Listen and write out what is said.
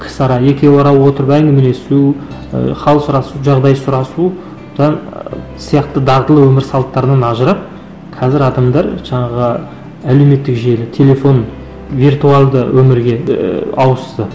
кісіара екеуара отырып әңгімелесу ы хал сұрасу жағдай сұрасу сияқты дағдылы өмір салттарынан ажырап қазір адамдар жаңағы әлеуметтік желі телефон виртуалды өмірге ііі ауысты